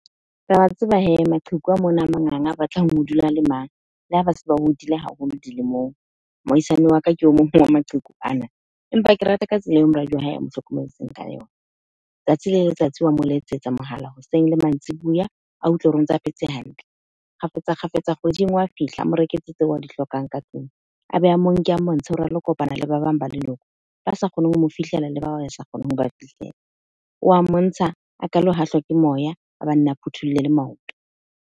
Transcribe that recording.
Tseba hee maqheku a mona a manganga a batlang ho dula a le mang le ha ba se ba hodile haholo dilemong. Moahisani wa ka ke o mong wa maqheku ana, empa ke rata ka tsela eo moradi wa hae a mo hlokometseng ka yona. Tsatsi le letsatsi wa mo letsetsa mohala hoseng le mantsibuya, a utlwe hore o ntsa phetse hantle. Kgafetsa-kgafetsa, kgweding wa fihla a mo reketse tseo a di hlokang ka tlung. A be a mo nke a montshe hore a lo kopana le ba bang ba leloko ba sa kgoneng ho mo fihlela le ba sa kgoneng ho ba fihlela. O wa mmontsha a ka lo hahlwa ke moya, a phuthulle le maoto.